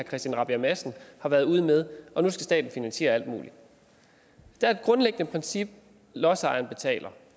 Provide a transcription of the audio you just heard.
christian rabjerg madsen har været ude med og nu skal staten finansiere alt muligt der er et grundlæggende princip nemlig at lodsejeren betaler